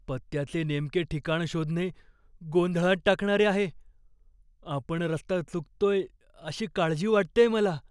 पत्त्याचे नेमके ठिकाण शोधणे गोंधळात टाकणारे आहे. आपण रस्ता चुकतोय अशी काळजी वाटतेय मला.